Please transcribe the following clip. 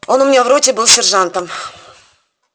он у меня в роте был сержантом